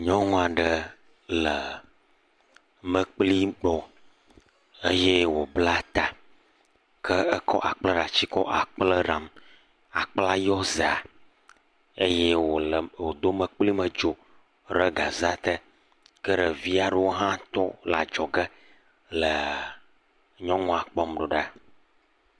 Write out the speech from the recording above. Nyɔnu aɖe le mekpli gbɔ eye wòbla ta. Ke ekɔ akplẽɖati kɔ akple ɖam. Akplẽa yɔ zea eye wòle, wòdo mekplimedzo re gzaea te. Ke ɖevi ɖewo hã tɔ le adzɔge le nyɔnua kpɔm ɖo ɖa.